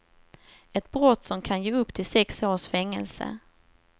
Ett brott som kan ge upp till sex års fängelse.